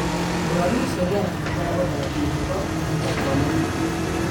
Mũrwaru ũcio nĩarabatara gũthambio higo mahinda kwa mahinda